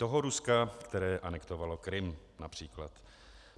Toho Ruska, které anektovalo Krym, například.